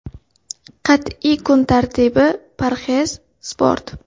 Qat’iy kun tartibi, parhez, sport.